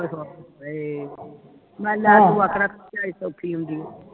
ਹਏ ਨਾਲੇ ਲੈ ਤੂੰ ਆਖਣਾ ਝਾਈ ਸੋਖੀ ਹੁੰਦੀ